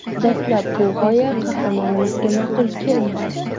Dastlab bu g‘oya qahramonimizga ma’qul kelmadi.